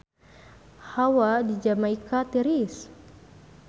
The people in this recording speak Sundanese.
Hawa di Jamaika tiris